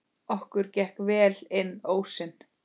Okkur gekk vel inn ósinn.